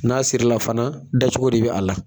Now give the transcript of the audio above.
N'a siri la fana da cogo de bi a la